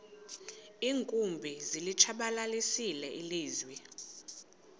iinkumbi zilitshabalalisile ilizwe